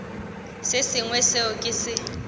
se sengwe seo ke se